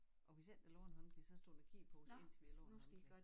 Og hvis ikke der lå en håndklæde så stod den og kiggede på os indtil vi lagde en håndklæde